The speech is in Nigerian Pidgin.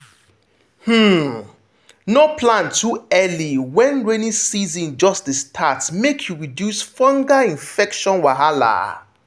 um no plant too early when rainy season just dey start make you reduce fungal infection wahala.